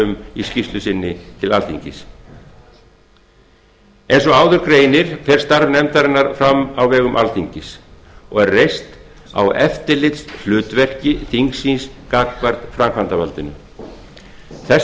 um í skýrslu sinni til alþingis eins og áður greinir fer starf nefndarinnar fram á vegum alþingis og er reist á eftirlitshlutverki þingsins gagnvart framkvæmdarvaldinu þess